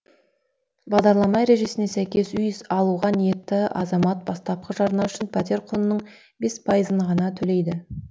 бағдарлама ережесіне сәйкес үй алуға ниетті азамат бастапқы жарна үшін пәтер құнының бес пайызын ғана төлейді